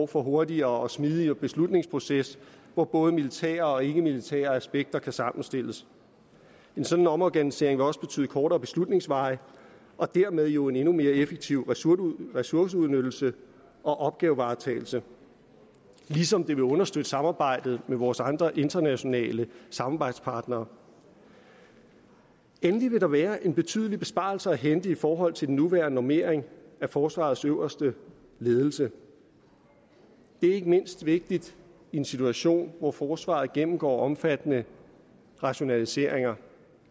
for hurtigere og smidigere beslutningsprocesser hvor både militære og ikkemilitære aspekter kan sammenstilles en sådan omorganisering vil også betyde kortere beslutningsveje og dermed jo en endnu mere effektiv ressourceudnyttelse og opgavevaretagelse ligesom det vil understøtte samarbejdet med vores andre internationale samarbejdspartnere endelig vil der være en betydelig besparelse at hente i forhold til den nuværende normering af forsvarets øverste ledelse det er ikke mindst vigtigt i en situation hvor forsvaret gennemgår omfattende rationaliseringer